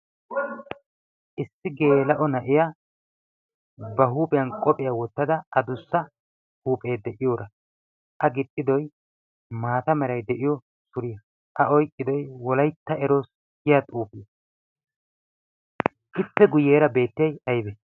Issi gelaa"o na'iyaa ba huuphiyaan qophphiyaa wottada addussa huuphe de'iyora a gixxidoy maata meray de'iyo suriyaa, A oyqqido Wolaytta eroos giyaa xuufiya. Ippe guyyeera beetriyay aybbe